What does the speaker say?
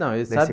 Nesse não, eu